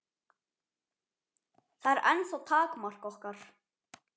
Það er ennþá takmark okkar.